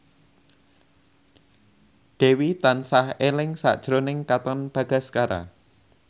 Dewi tansah eling sakjroning Katon Bagaskara